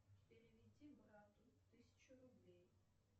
переведи брату тысячу рублей